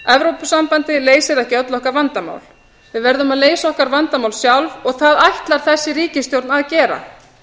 evrópusambandið leysir ekki öll okkar vandamál við verðum að leysa okkar vandamál sjálf og það ætlar þessi ríkisstjórn að gera